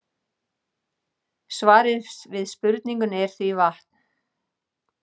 Svarið við spurningunni er því vatn.